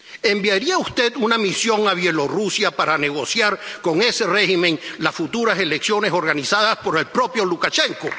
¿Enviaría usted una misión a Bielorrusia para negociar con ese régimen las futuras elecciones organizadas por el propio Lukashenko?